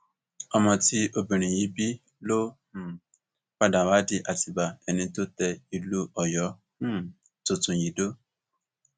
ọmọ tí obìnrin yìí bí ló um padà wàá di àtibá ẹni tó tẹ ìlú ọyọ um tuntun yìí dó